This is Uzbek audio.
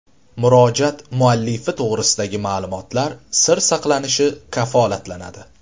Murojaat muallifi to‘g‘risidagi ma’lumotlar sir saqlanishi kafolatlanadi.